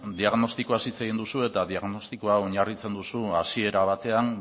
diagnostikoaz hitz egin duzu eta diagnostikoa oinarritzen duzu hasiera batean